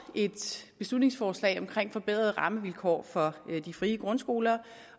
et beslutningsforslag om forbedrede rammevilkår for de frie grundskoler